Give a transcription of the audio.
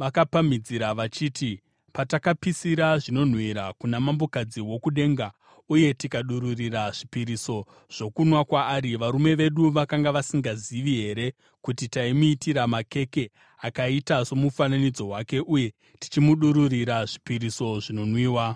vakapamhidzira vachiti, “Patakapisira zvinonhuhwira kuna Mambokadzi woKudenga, uye tikadururira zvipiriso zvokunwa kwaari, varume vedu vakanga vasingazivi here kuti taimuitira makeke akaita somufananidzo wake uye tichimudururira zvipiriso zvinonwiwa?”